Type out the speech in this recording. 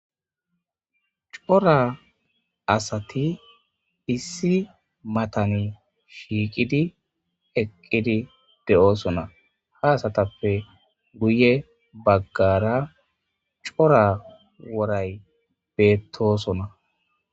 Cora asati issi matani shiiqidi eqqidi de'oosona ha asatappe guye baggara cora woray beettosona.